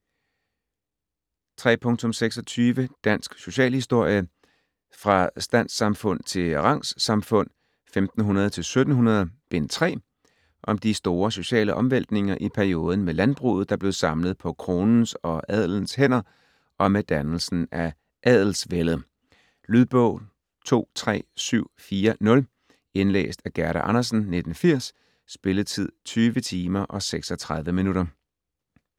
30.26 Dansk socialhistorie: Fra standssamfund til rangssamfund 1500-1700: Bind 3 Om de store sociale omvæltninger i perioden med landbruget der blev samlet på kronens og adelens hænder og med dannelsen af adelsvældet. Lydbog 23740 Indlæst af Gerda Andersen, 1980. Spilletid: 20 timer, 36 minutter.